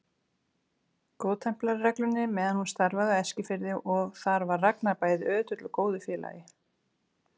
Góðtemplarareglunni meðan hún starfaði á Eskifirði og þar var Ragnar bæði ötull og góður félagi.